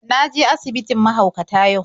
Na je asibitin mahaukata yau.